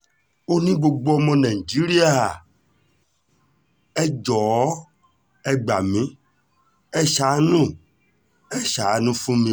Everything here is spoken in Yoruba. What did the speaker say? ó ní gbogbo ọmọ nàìjíríà ẹ jọ̀ọ́ ẹ gbà mí ẹ́ ṣàánú ẹ́ ṣàánú fún mi o